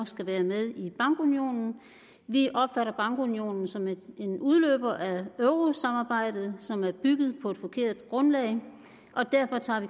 skal være med i bankunionen vi opfatter bankunionen som en udløber af eurosamarbejdet som er bygget på et forkert grundlag og derfor tager vi